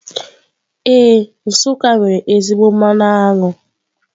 Ee, Nsuká nwere ezigbo mmanụ aṅụ.